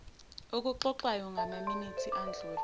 okuxoxwayo ngamaminithi adlule